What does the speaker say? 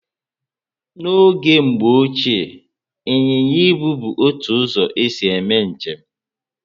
N'oge Mgbo Ochié ,Inyịnya Ibu bu otu ụzọ esi eme njem